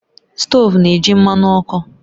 Stovu na-eji mmanụ ọkụ